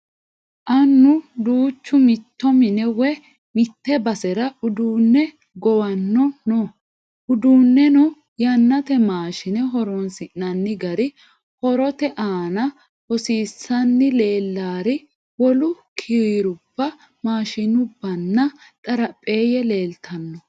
Annu duuchu mitto mine woyi mitte basera uduunne gowanno no. Uduunneno yannate maashine horoonsi'nanni gari horote aana hosiisanni leellari wolu kirrubba maashinnanna xarapheeyye leeltanno.